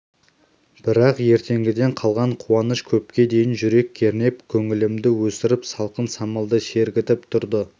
бірақ ертеңгіден қалған қуаныш көпке дейін жүрек кернеп көңілімді өсіріп салқын самалдай сергітіп тұрды